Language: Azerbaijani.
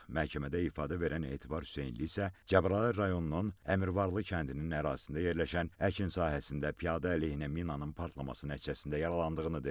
Məhkəmədə ifadə verən Etibar Hüseynli isə Cəbrayıl rayonunun Əmirvarlı kəndinin ərazisində yerləşən əkin sahəsində piyada əleyhinə minanın partlaması nəticəsində yaralandığını dedi.